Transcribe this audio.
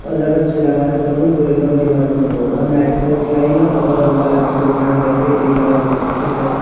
o jaga chela masa tango burui londhi masa tango naitotok kelaioe no o rong colour ni kokarang bai ke tui colour bo khesagh.